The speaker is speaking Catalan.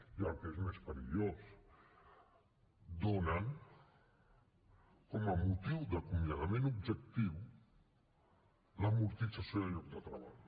i el que és més perillós donen com a motiu d’acomiadament objectiu l’amortització del lloc de treball